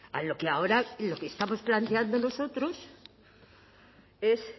a lo que ahora lo que estamos planteando nosotros es